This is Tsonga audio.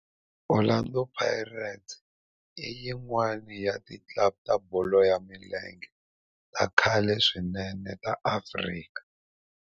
Orlando Pirates i yin'wana ya ti club ta bolo ya milenge ta khale swinene ta Afrika